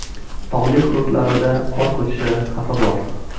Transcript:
Tog‘li hududlarida qor ko‘chishi xavfi bor.